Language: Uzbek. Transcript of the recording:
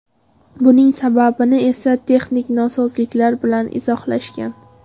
Buning sababini esa texnik nosozliklar bilan izohlashgan.